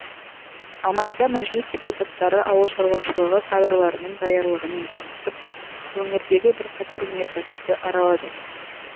алматыда мәжіліс депутаттары ауыл шаруашылығы кадрларының даярлығымен танысып өңірдегі бірқатар өнеркәсіпті аралады